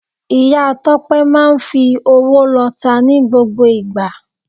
Ìya Tópé máa n fi owó lota ní gbogbo ìgbà